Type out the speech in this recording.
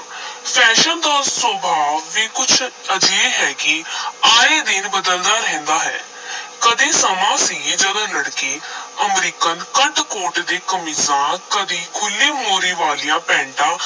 Fashion ਦਾ ਸੁਭਾਅ ਵੀ ਕੁਝ ਅਜਿਹੇ ਹੈ ਕਿ ਆਏ ਦਿਨ ਬਦਲਦਾ ਰਹਿੰਦਾ ਹੈ ਕਦੇ ਸਮਾਂ ਸੀ ਜਦੋਂ ਲੜਕੇ ਅਮਰੀਕਨ ਕੱਟ ਕੋਟ ਤੇ ਕਮੀਜ਼ਾਂ, ਕਦੀ ਖੁੱਲ੍ਹੀ ਮੋਹਰੀ ਵਾਲੀਆਂ ਪੈਟਾਂ